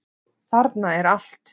Þarna er allt.